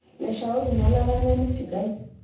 leshao ninye olaranyani sidai